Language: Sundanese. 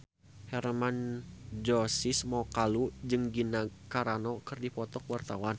Hermann Josis Mokalu jeung Gina Carano keur dipoto ku wartawan